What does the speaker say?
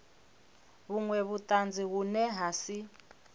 vhunwe vhutanzi vhune ha si